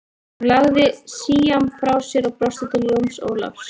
Hún lagði síamm frá sér og brosti til Jóns Ólafs.